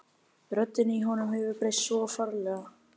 Röddin í honum hefur breyst svo ferlega.